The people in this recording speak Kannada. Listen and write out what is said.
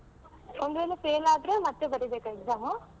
ಒಂದು ವೇಳೆ fail ಆದ್ರೆ ಮತ್ತೆ ಬರೀಬೇಕಾ exam ?